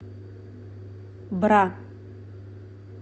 бра